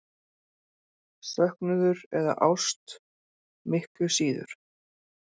Söknuður eða ást miklu síður.